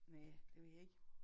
Næ det ved jeg ikke